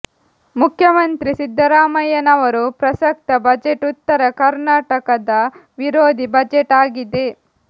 ಮುಖ್ಯಮಂತ್ರಿ ಸಿದ್ದರಾಮಯ್ಯನವರು ಪ್ರಸಕ್ತ ಬಜೆಟ್ ಉತ್ತರ ಕರ್ನಾಟಕದ ವಿರೋಧಿ ಬಜೆಟ್ ಆಗಿದೆ